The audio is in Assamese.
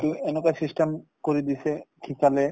টো এনেকুৱা system কৰি দিছে শিকালে